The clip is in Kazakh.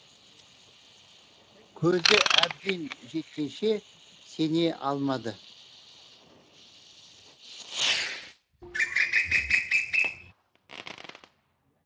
көзі әбден жеткенше сене алмады